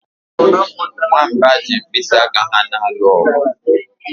Nwamba ji mkpịsị aka ha na-alụ ọgụ